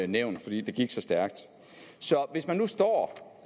nævnt fordi det gik så stærkt så hvis man nu står